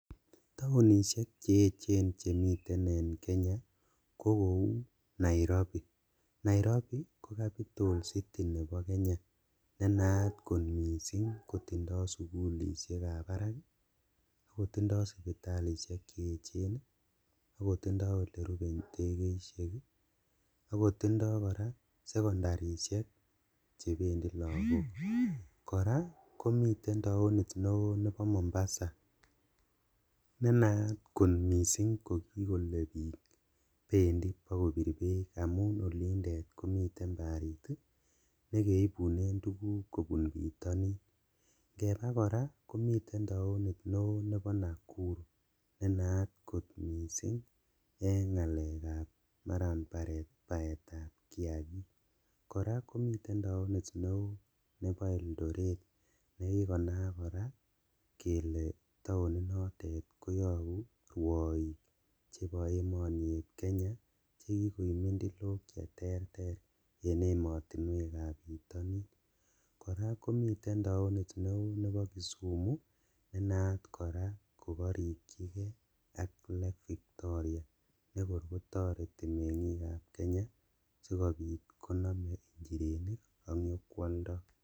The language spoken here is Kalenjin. Taonishek cheechen chemiten en Kenya ko kou Nairobi, Nairobi ko capital city nebo Kenya nenaat kot missing' kotindo sugulishekab barak, ako tindo sipitalishek cheechen ii, akotindo elerupe indekeishek ii, akotindo koraa secondarishek chebendi lagok, koraa komiten taonit neo nebo mombasa nenaat kot missing' kokikole bik bendi bo kobir beek amun yundet komiten barit nekeibune tuguk kobun bitonin, ingebaa koraa komiten toanit neo nebo Nakuru nenaat kot missing' en ngalekab maran baetab kiakik, koraa komiten taonit neo nebo Eldoret nekikonaak koraa kele taoninotet koyobu ruoik chebo emoni eb Kenya chekikoib mintilok cheterter en emotinuekab bitonin, koraa komiten taonit neo nebo Kisumu nenaat koraa kokorikchikee ak Lake Victoria nekor kotoreti mengikab Kenya sikobit konome injirenik ak nyokwoldo.